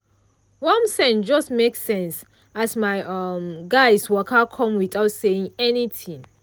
warm scent just make sense as my um guys waka come without say anything.